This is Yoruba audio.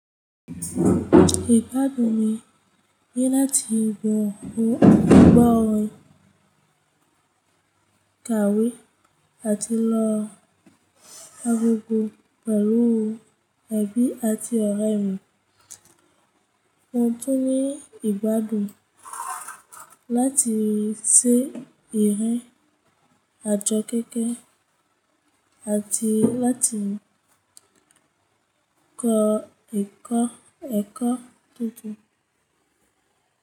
Ìgbádùn mi ni láti gbọ́ orin kàwé àti lo akoko pẹ̀lú ẹ̀bi àti ọ̀rẹ́ mi. Mo tún ní ìgbádùn láti ṣe ìrìn àjo kẹ́kẹ̀ àti láti kọ ẹkọ tuntun.